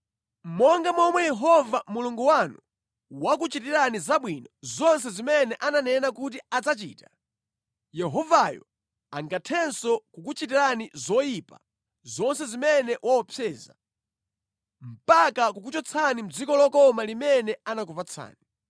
Monga momwe Yehova Mulungu wanu wakuchitirani zabwino zonse zimene ananena kuti adzachita, Yehovayo angathenso kukuchitirani zoyipa zonse zimene waopseza, mpaka kukuchotsani mʼdziko lokoma limene anakupatsani.